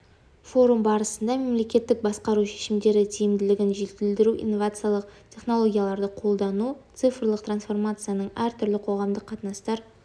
форум барысында мемлекеттік басқару шешімдері тиімділігін жетілдіруде инновациялық технологияларды қолдану цифрлық трансформацияның әр түрлі қоғамдық қатынастар